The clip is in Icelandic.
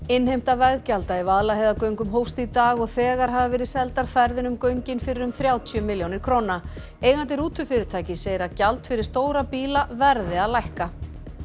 innheimta veggjalda í Vaðlaheiðargöngum hófst í dag og þegar hafa verið seldar ferðir í göngin fyrir um þrjátíu milljónir króna eigandi rútufyrirtækis segir gjald fyrir stóra bíla verði að lækka